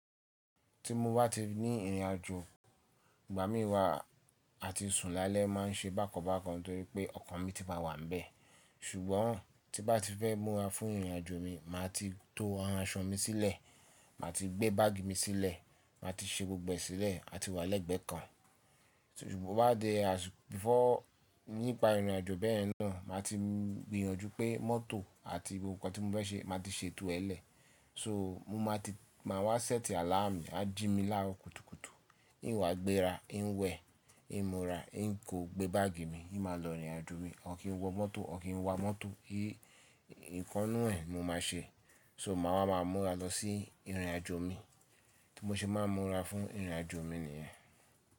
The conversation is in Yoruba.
Ti mo bá ti ní ìrìn àjò ìgbà míwa àti sùn lálẹ́ má n ṣe bákan bákan torí pé ọkàn mi ti máa wà níbẹ̀. Ṣùgbọ́n tí n bá ti fẹ́ múra fún ìrìn àjò mi, màá ti to ara ṣọ mi sílẹ̀, màá ti gbé báàgì mi sílẹ̀, màá ti ṣe gbogbo ẹ sílẹ̀ àti wà lẹ́gbẹ́ kan. So ṣùgbọ́n to bá di before nípa ìrìn àjò bẹ́ẹ̀ náà, màá ti gbìyànjú pé mọ́tò àti gbogbo nǹkan tí mo fẹ́ ṣe màá ti ṣètò ẹ́ lẹ̀. So mo máa ti máa wá sẹ́ẹ̀tì àláàmù, a jí mi lárọ̀kútùkùtù, ì n wa àgbéra, i n wẹ̀, ì n múra, n kò gbé báàgì mi, ì n máa lọ rìn àjò mi, or kín wọ mọ́tò, or kín wa mọ́tò, i ìkan nnú ẹ́ mo máa ṣe. So màá wá máa múra lọ sí ìrìn àjò mi tí mo ṣe máa n múra fún ìrìn àjò mi nìyẹn.